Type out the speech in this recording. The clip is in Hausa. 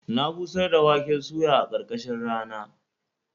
Na busar da waken suya a ƙarkashin rana.